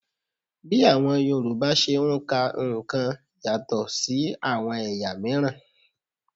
Bí àwọn Yorùbá ṣe ń ka nǹkan yàtọ̀ àwọn ẹ̀yà miran